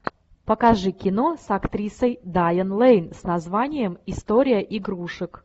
покажи кино с актрисой дайан лейн с названием история игрушек